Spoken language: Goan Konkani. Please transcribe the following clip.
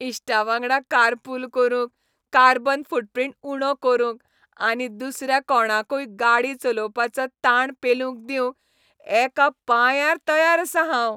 इश्टांवांगडा कारपूल करूंक, कार्बन फूटप्रिंट उणो करूंक आनी दुसऱ्या कोणाकूय गाडी चलोवपाचो ताण पेलूंक दिवंक एका पांयार तयार आसां हांव.